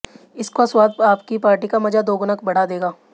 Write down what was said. इसका स्वाद आपकी पार्टी का मजा दोगुना बढ़ा देगा